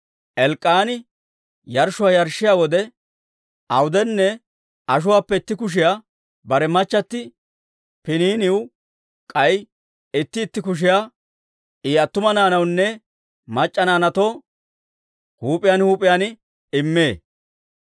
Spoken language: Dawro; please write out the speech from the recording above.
Elk'k'aani yarshshuwaa yarshshiyaa wode awudenne ashuwaappe itti kushiyaa bare machchatti Piniiniw, k'ay itti itti kushiyaa I attuma naanawunne mac'c'a naanaatoo huup'iyaan huup'iyaan immee.